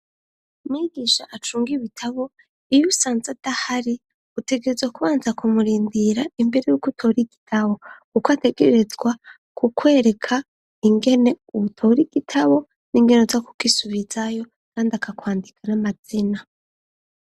Mwigisha acunga ibitabo iyi usanze adahari utegereza kubanza kumurindira imbere yuko utori igitabo. Uko ategerezwa ku kwereka ingene ubutobo rigitabo n'ingene za kukisubizayo kandi akakwandika n'amazina.